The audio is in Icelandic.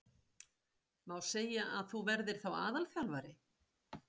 Má segja að þú verðir þá aðalþjálfari?